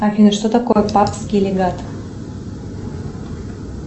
афина что такое папский легат